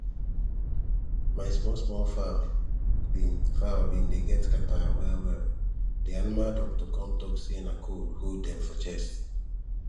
my small small fowl been fowl been dey get catarrh well well the animal doctor come talk say na cold hold dem for chest